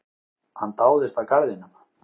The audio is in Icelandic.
Hann dáðist að garðinum.